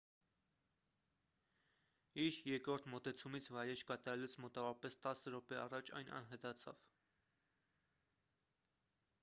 իր երկրորդ մոտեցումից վայրէջք կատարելուց մոտավորապես տասը րոպե առաջ այն անհետացավ